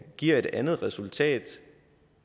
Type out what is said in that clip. giver et andet resultat